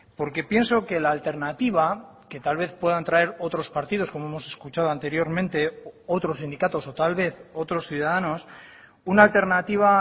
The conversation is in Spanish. porque pienso que la alternativa que tal vez puedan traer otros partidos como hemos escuchado anteriormente otros sindicatos o tal vez otros ciudadanos una alternativa